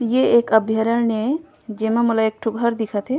ये एक अभयारन्य जेमा मलेक एक ठो घर दिखत हे।